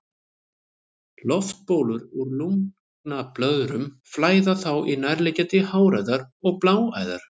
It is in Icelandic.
Loftbólur úr lungnablöðrum flæða þá í nærliggjandi háræðar og bláæðar.